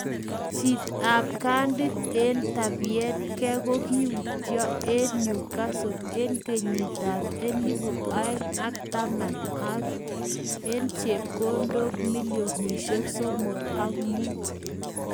Chit ab kandit eng tapyeetgee kogiuto kwa Newcastle eng kenyit ab elpu aeng ak taman eng chepkondok milionishek somok ak mut